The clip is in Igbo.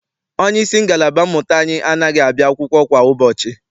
Onyeisi ngalaba mmụta anyị anaghị abịa akwụkwọ kwa ụbọchị.